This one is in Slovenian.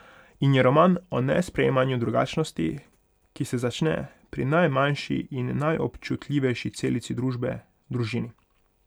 In je roman o nesprejemanju drugačnosti, ki se začne pri najmanjši in najobčutljivejši celici družbe, družini.